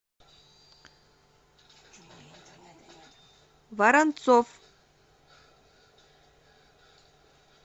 воронцов